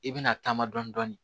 I bɛna taama dɔɔnin